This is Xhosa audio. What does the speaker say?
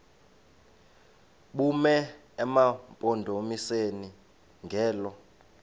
bume emampondomiseni ngelo